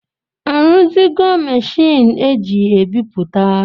A ruzigo Machiini eji ebiputa?